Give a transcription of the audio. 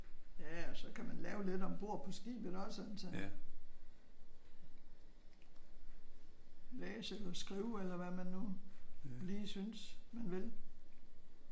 Ja og så kan man lave lidt ombord på skibet også altså. Læse eller skrive eller hvad man nu lige synes man vil